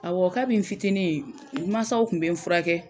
Awɔ kabi n fitinin n masaw kun be n furakɛ